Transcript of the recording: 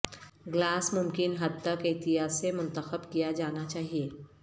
glass ممکن حد تک احتیاط سے منتخب کیا جانا چاہئے